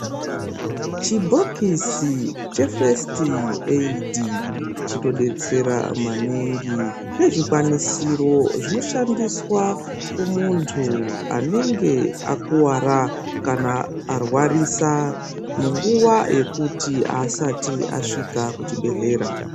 Chibhokisi chefesiti eidhi chinodetsera maningi nezvikwanisiro zvinoshandiswa kumuntu anenge akuwara kana arwarisa munguwa yekuti asati asvika kuchibhedhlera.